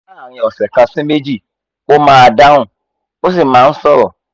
láàárín ọ̀sẹ̀ kan sí méjì ó máa dáhùn ó sì máa ń sọ̀rọ̀